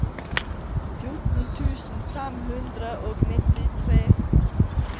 fjorten tusen fem hundre og nittitre